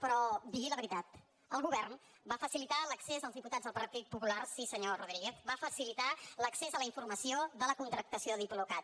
però digui la veritat el govern va facilitar l’accés als diputats del partit popular sí senyor rodríguez a la informació de la contractació de diplocat